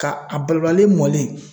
Ka a balabali mɔlen